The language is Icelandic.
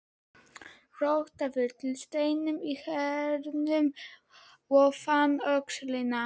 Rótaði til steinum í Hyrnunni og fann öxina.